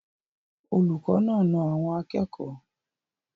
Olùkọ́ náà na àwọn akẹ́kọ̀ọ́?